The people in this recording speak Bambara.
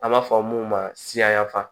An b'a fɔ mun ma siyafa